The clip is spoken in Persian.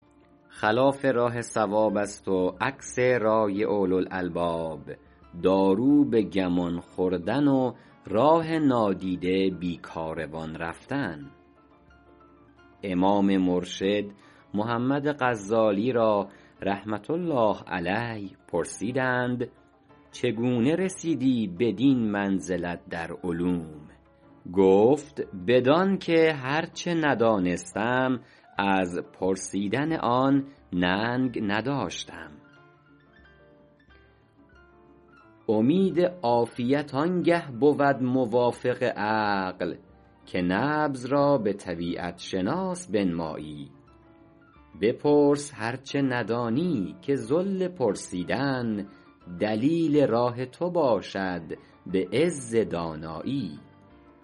خلاف راه صواب است و عکس رای اولوالالباب دارو به گمان خوردن و راه نادیده بی کاروان رفتن امام مرشد محمد غزالی را رحمة الله علیه پرسیدند چگونه رسیدی بدین منزلت در علوم گفت بدان که هر چه ندانستم از پرسیدن آن ننگ نداشتم امید عافیت آن گه بود موافق عقل که نبض را به طبیعت شناس بنمایی بپرس هر چه ندانی که ذل پرسیدن دلیل راه تو باشد به عز دانایی